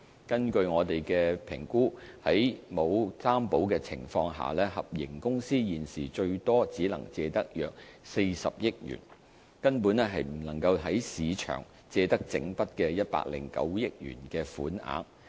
根據我們的評估，在沒有擔保的情況下，合營公司現時最多只能借得約40億元，根本不能在市場借得整筆109億元的款額。